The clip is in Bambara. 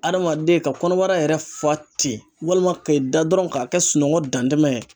Adamaden ka kɔnɔbara yɛrɛ fa ten, walima ki da dɔrɔn k'a kɛ sunɔgɔ dantɛmɛ ye.